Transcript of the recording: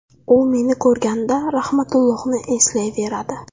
U meni ko‘rganida Rahmatullohni eslayveradi.